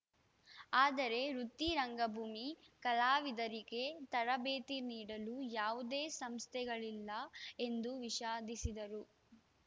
ಆದರೆ ವೃತ್ತಿ ರಂಗಭೂಮಿ ಕಲಾವಿದರಿಗೆ ತರಬೇತಿ ನೀಡಲು ಯಾವುದೇ ಸಂಸ್ಥೆಗಳಿಲ್ಲ ಎಂದು ವಿಷಾದಿಸಿದರು